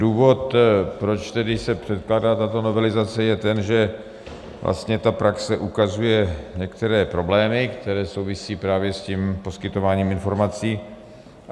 Důvod, proč se tedy předkládá tato novelizace, je ten, že vlastně ta praxe ukazuje některé problémy, které souvisí právě s tím poskytováním informací.